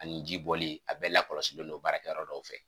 Ani jibɔli a bɛ lakɔlɔsilen don baarakɛyɔrɔ dɔw fɛ